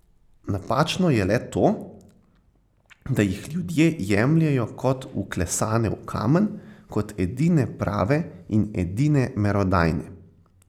Napačno je le to, da jih ljudje jemljejo kot vklesane v kamen, kot edine prave in edine merodajne.